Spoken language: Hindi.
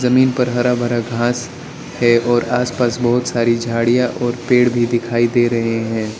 जमीन पर हरा भरा घांस है और आसपास बहुत सारी झाड़ियां और पेड़ भी दिखाई दे रहे हैं।